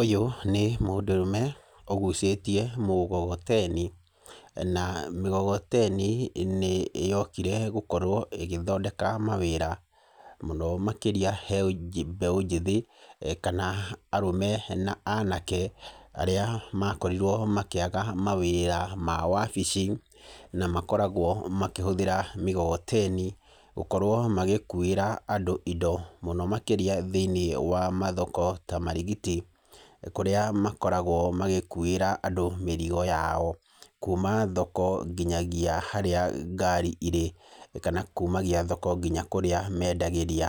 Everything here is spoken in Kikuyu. Ũyũ nĩ mũndũrũme ũgucĩtie mũgogoteni. Na mĩgogoteni nĩyokire gũkorwo ĩgĩthondeka mawĩra mũno makĩria he mbeũ njĩthĩ, kana arũme na anake arĩa makorirwo makĩaga mawĩra ma wabici, na makoragwo makĩhũthĩra mĩgogoteni gũkorwo magĩkuĩra andũ indo mũno makĩria thĩiniĩ wa mathoko ta Marigiti, kũrĩa makoragwo magĩkuĩra andũ mĩrigo yao, kuuma thoko nginyagia harĩa ngari irĩ, kana kuumagia thoko nginya kũrĩa mendagĩria,